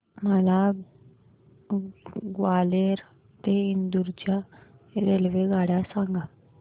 मला ग्वाल्हेर ते इंदूर च्या रेल्वेगाड्या सांगा